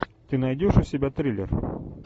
ты найдешь у себя триллер